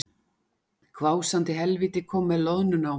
Hvásandi helvíti kom með loðnuna á mig